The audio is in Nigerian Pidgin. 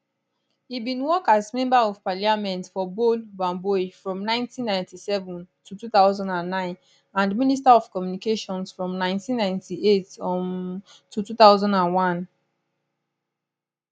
e bin work as member of parliament for bole bamboi from 1997 to 2009 and minister of communications from 1998 um to 2001